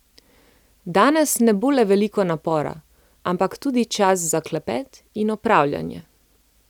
Danes ne bo le veliko napora, ampak tudi čas za klepet in opravljanje.